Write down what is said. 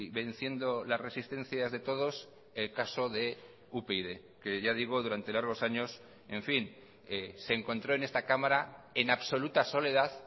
venciendo las resistencias de todos el caso de upyd que ya digo durante largos años en fin se encontró en esta cámara en absoluta soledad